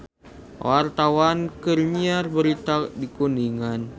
Wartawan keur nyiar berita di Kuningan